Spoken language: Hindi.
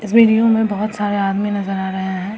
इस वीडियो में बहुत सारे आदमी नजर आ रहे हैं।